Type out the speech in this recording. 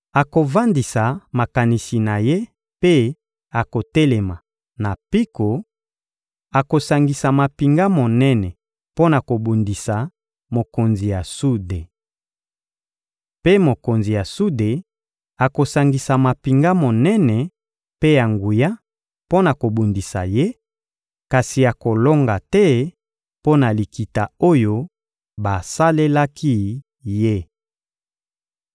Akovandisa makanisi na ye mpe akotelema na mpiko, akosangisa mampinga monene mpo na kobundisa mokonzi ya sude. Mpe mokonzi ya sude akosangisa mampinga monene mpe ya nguya mpo na kobundisa ye, kasi akolonga te mpo na likita oyo basalelaki ye.